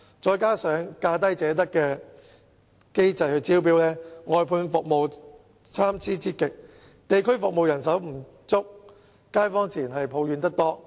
再加上以價低者得的機制招標，外判服務質素參差之極，地區服務人手不足，街坊自然抱怨得多。